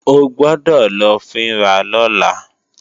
O gbọ́dọ̀ lọ fín ra lọ́la!